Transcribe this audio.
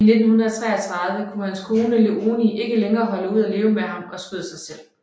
I 1933 kunne hans kone Léonie ikke længere holde ud af leve med ham og skød sig selv